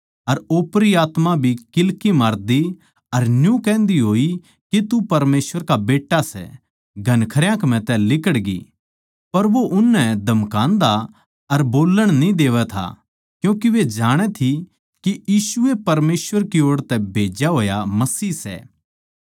अर ओपरी आत्मा भी किल्की मारदी अर न्यू कहन्दी होई के तू परमेसवर का बेट्टा सै घणखरया म्ह तै लिकड़गी पर वो उननै धमकांदा अर बोल्लण न्ही देवै था क्यूँके वे जाणै थी के यीशु ए परमेसवर की ओड़ तै भेज्या होया मसीह सै